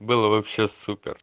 было вообще